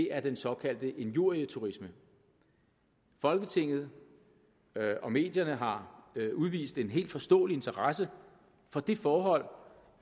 er den såkaldte injurieturisme folketinget og medierne har udvist en helt forståelig interesse for det forhold